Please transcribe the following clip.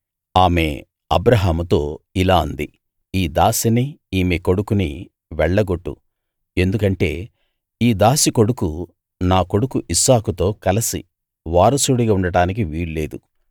ఆమె అబ్రాహాముతో ఇలా అంది ఈ దాసీనీ ఈమె కొడుకునీ వెళ్ళగొట్టు ఎందుకంటే ఈ దాసీ కొడుకు నా కొడుకు ఇస్సాకుతో కలసి వారసుడిగా ఉండటానికి వీలులేదు